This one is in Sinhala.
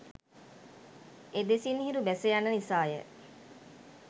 එදෙසින් හිරු බැස යන නිසා ය.